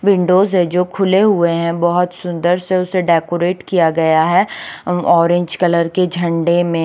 Windows है जो खुले हुए है बोहोत सुन्दर से उसे डेकोरेट किया गया है अ ऑरेंज कलर के झंडे में --